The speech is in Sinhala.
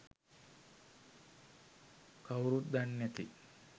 කවුරුත් දන්නැති